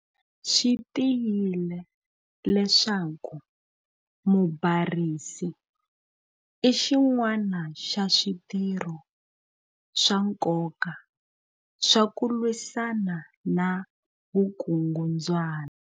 Swi tiyile leswaku 'mubarisi'i xin'wana xa switirho swa nkoka swa ku lwisana na vukungundzwana.